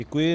Děkuji.